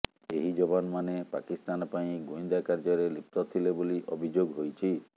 ଏହି ଯବାନମାନେ ପାକିସ୍ତାନ ପାଇଁ ଗୁଇନ୍ଦା କାର୍ଯ୍ୟରେ ଲିପ୍ତ ଥିଲେ ବୋଲି ଅଭିଯୋଗ ହୋଇଛି